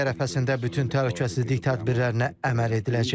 Toy ərəfəsində bütün təhlükəsizlik tədbirlərinə əməl ediləcək.